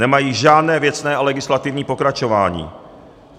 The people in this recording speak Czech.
Nemají žádné věcné a legislativní pokračování.